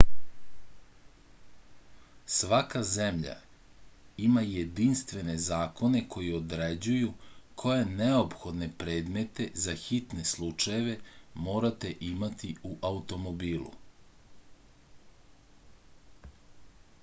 svaka zemlja ima jedinstvene zakone koji određuju koje neophodne predmete za hitne slučajeve morate imati u automobilu